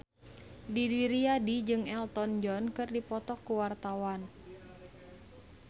Didi Riyadi jeung Elton John keur dipoto ku wartawan